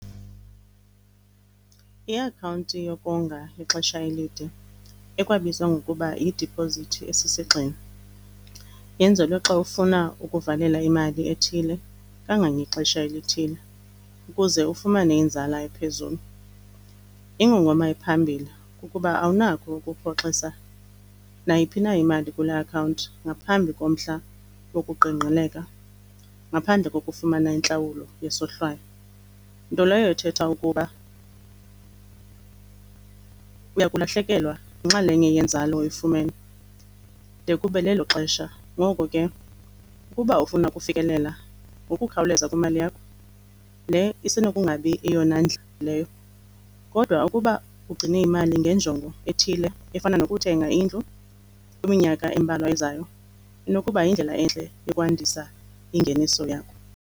Iakhawunti yokonga yexesha elide ekwabizwa ngokuba yidipozithi esisigxina yenzelwe xa ufuna ukuvalela imali ethile kangangexesha elithile ukuze ufumane inzala ephezulu. Ingongoma ephambili kukuba awunakho ukurhoxisa nayiphi na imali kule akhawunti ngaphambi komhla wokuqingqeleka, ngaphandle kokufumana intlawulo yesohlwayo, nto leyo ethetha ukuba uya kulahlekelwa yinxalenye yenzalo oyifumene de kube lelo xesha. Ngoko ke ukuba ufuna ukufikelela ngokukhawuleza kwimali yakho, le isenokungabi yeyona leyo. Kodwa ukuba ugcine imali ngenjongo ethile efana nokuthenga indlu kwiminyaka embalwa ezayo, inokuba yindlela entle yokwandisa ingeniso yakho.